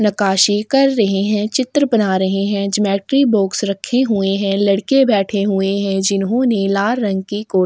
नकाशी कर रहै है चित्र बना रहै है ज्योमेट्री बॉक्स रखे हुए है लड़के बैठे हुए है जिन्होने लाल रंग के कोट --